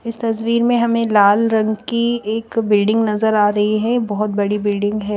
इस तस्वीर में हमे लाल रंग की एक बिल्डिंग नज़र आरही है बहोत बड़ी बिल्डिंग है।